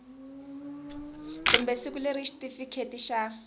kumbe siku leri xitifiketi xa